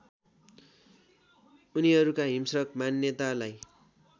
उनीहरूका हिंस्रक मान्यतालाई